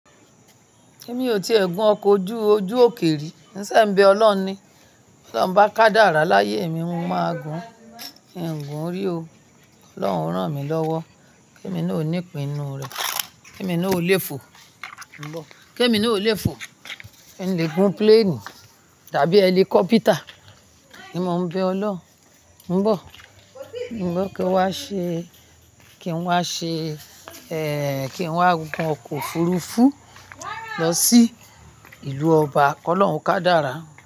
Emi ò tíe gùn ọkọ̀ ojú òkè ri. Ǹ saa n bee ọlọ́run ni. To lọ́run bá kádára láyé mi, mo máa gùn in gún rí o. Ọlọ́run o rán mi lọ́wọ́ kí èmi náà ò ní ipin n nu rẹ̀, kí èmi náà ò léfo. Kí èmi náà ò léfo. In le gùn pléènì tàbí hẹlikọ́pítà. Ni mo ń bẹ Ọlọ́run. Ǹbọ̀, Ǹbọ̀ kí n wá ṣe, kí n wá ṣe, ẹ́ kí n wá gùn ọkọ̀ òfurufú lọ sí ìlú ọba. Kọ́ lọ́hun kádára.